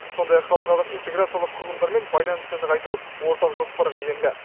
сондай ақ халықаралық интеграциялық құрылымдармен байланысты нығайту ортақ жоспарға енді